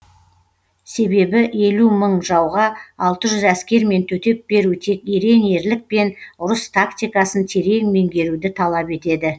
себебі елу мың жауға алты жүз әскермен төтеп беру тек ерен ерлік пен ұрыс тактикасын терең меңгеруді талап етеді